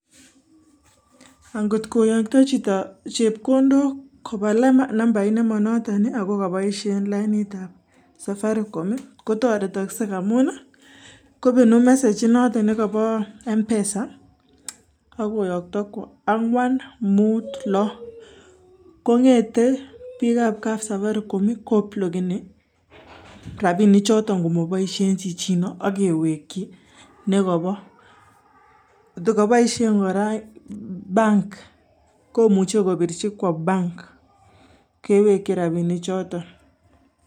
Ang'ot koyokto chito chepkondok koba nambait nemonoton ako koboishen lainitab Safaricom kotoretokse amun kokanam message message inoton nekobo mpesa ak koyokto kwoo angwan, muut, loo kong'ete bikab kap Safaricom koblokeni rabinichoton komoboishen chichino ak kewekyi nekobo, ndokoboishen kora bank komuche kobirchi kwoo bank kewekyin rabini choton.